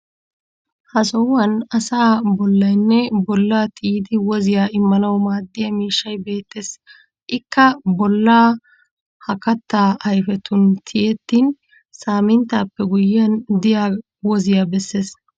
Ha sohuwan asaa bollaynne bollaa tiyidi woziya immanawu maaddiya miishshay beettes. Ikka boollaa ha kattaa ayfetun tiyettin saaminttaappe guyyiyan diya woziyaa besses.